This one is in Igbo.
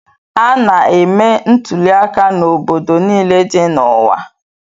A na-eme ntuliaka n'obodo niile dị n'ụwa